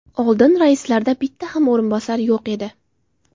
Oldin raislarda bitta ham o‘rinbosar yo‘q edi.